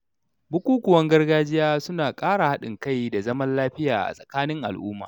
Bukukuwan gargajiya suna ƙara haɗin kai da zaman lafiya a tsakanin al’umma.